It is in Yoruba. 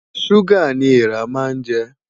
Ṣúgà ni eèrà máa ń jẹ.